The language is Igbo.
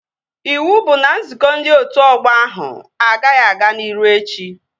Iwu bụ na nzukọ ndị otu ọgbọ ahụ agaghị aga n'iru echi!